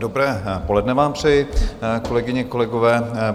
Dobré poledne vám přeji, kolegyně, kolegové.